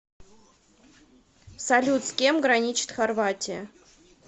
салют с кем граничит хорватия